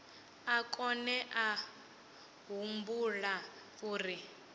a kone a humbula uri